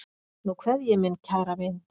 Nú kveð ég minn kæra vin.